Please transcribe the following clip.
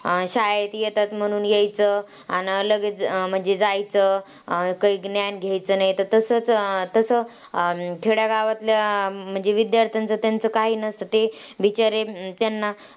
अं शाळेत येतात म्हणून यायचं, अन लगेच जायचं. काही ज्ञान घ्यायचं नाही. तसंचं तसं खेड्यागावातल्या म्हणजे विद्यार्थ्यांचं त्यांचं काही नसतं ते बिचारे त्यांना,